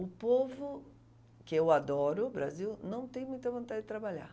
O povo, que eu adoro o Brasil, não tem muita vontade de trabalhar.